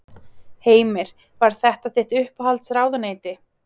Heimir: Var þetta þitt uppáhalds ráðuneyti?